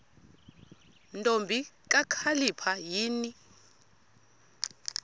ntombi kakhalipha yini